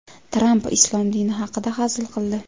Tramp islom dini haqida hazil qildi.